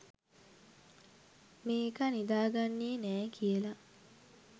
මේකා නිදා ගන්නේ නෑ කියලා